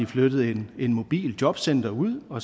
flyttet et mobilt jobcenter ud hvor